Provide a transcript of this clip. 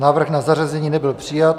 Návrh na zařazení nebyl přijat.